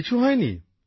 কিছু হয় নি